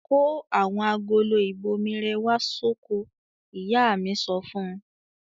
"Kó àwọn agolo ìbomirẹ̀ wá sóko!" Ìyá mi so fún un.